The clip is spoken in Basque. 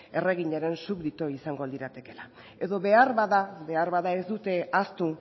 erreginaren subdito izango liratekeela edo beharbada beharbada ez dute ahaztu